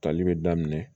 Tali be daminɛ